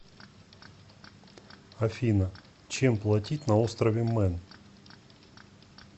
афина чем платить на острове мэн